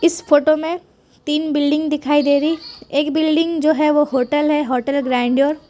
इस फोटो मे तीन बिल्डिंग दिखाई दे रही एक बिल्डिंग जो है वो होटल है होटल ग्रैंडियर--